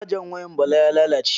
Cajan wayan Bala ya lalace.